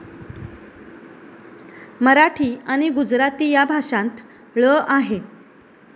मराठी आणि गुजराती या भाषांत ळ आहे.